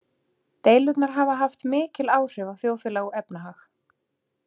Deilurnar hafa haft mikil áhrif á þjóðfélag og efnahag.